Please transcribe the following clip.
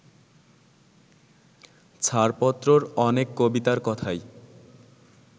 ছাড়পত্রর অনেক কবিতার কথাই